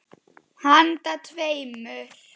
Handa tveimur